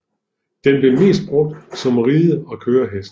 Den bliver mest brugt som ride og kørehest